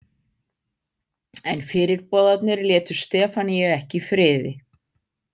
En fyrirboðarnir létu Stefaníu ekki í friði.